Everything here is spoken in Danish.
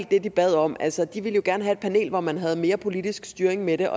det de bad om altså de ville jo gerne have et panel hvor man havde mere politisk styring af det